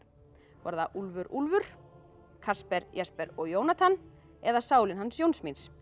voru það Úlfur Úlfur Jesper og Jónatan eða sálin hans Jóns míns